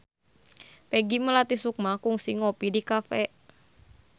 Peggy Melati Sukma kungsi ngopi di cafe